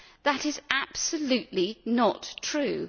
That is absolutely not true.